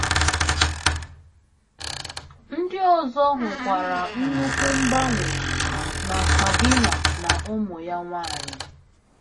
Ndị ọzọ hụkwara nnukwu mgbanwe na Sabina na ụmụ ya nwanyị.